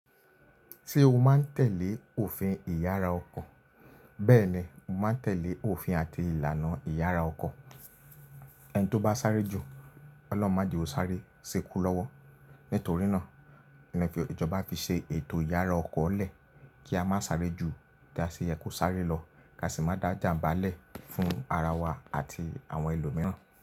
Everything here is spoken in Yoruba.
Tí o máa ń tẹ̀lé òfin ìyára ọkọ̀, bẹ́ẹ̀ ni o máa ń tẹ̀lé òfin àti ìlànà ìyára ọkọ̀. Ẹni tó bá sáré ju, Ọlọ́run máa jẹ ó sáré, ṣi ikú lọ́wọ́. Nítorí náà ni ẹ fi, ìjọba fi ṣe ètò ìyára ọkọ́ lẹ̀ kí a má sáré ju tí a ṣe yẹ kó sáré lọ, ká sì má dá jàmbá lẹ̀ fún ara wa àti àwọn ẹlòmíràn.